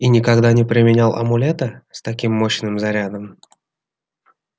и никогда не применял амулета с таким мощным зарядом